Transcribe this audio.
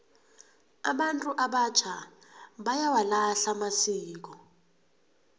abantu abatjha bayawalahla amasiko